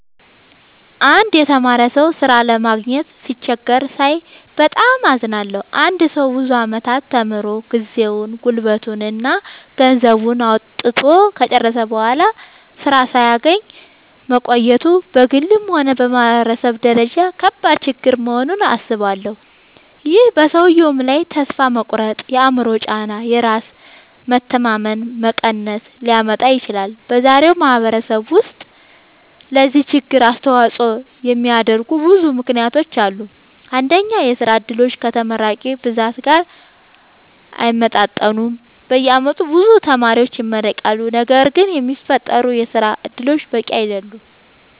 አንድ የተማረ ሰው ሥራ ለማግኘት ሲቸገር ሳይ በጣም አዝናለሁ። አንድ ሰው ብዙ ዓመታት ተምሮ፣ ጊዜውን፣ ጉልበቱን እና ገንዘቡን አውጥቶ ከጨረሰ በኋላ ሥራ ሳያገኝ መቆየቱ በግልም ሆነ በማህበረሰብ ደረጃ ከባድ ችግር መሆኑን አስባለሁ። ይህ በሰውየው ላይ ተስፋ መቁረጥ፣ የአእምሮ ጫና እና የራስ መተማመን መቀነስ ሊያመጣ ይችላል። በዛሬው ማህበረሰብ ውስጥ ለዚህ ችግር አስተዋጽኦ የሚያደርጉ ብዙ ምክንያቶች አሉ። አንደኛ፣ የሥራ ዕድሎች ከተመራቂዎች ብዛት ጋር አይመጣጠኑም። በየዓመቱ ብዙ ተማሪዎች ይመረቃሉ፣ ነገር ግን የሚፈጠሩ የሥራ እድሎች በቂ አይደሉም።